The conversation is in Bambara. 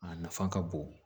A nafa ka bon